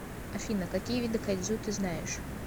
афина какие виды кайдзю ты знаешь